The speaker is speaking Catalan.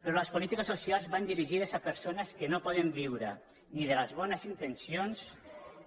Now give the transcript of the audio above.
però les polítiques socials van dirigides a persones que no poden viure ni de les bones intencions